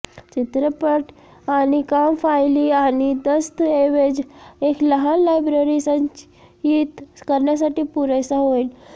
चित्रपट आणि काम फायली आणि दस्तऐवज एक लहान लायब्ररी संचयित करण्यासाठी पुरेसा होईल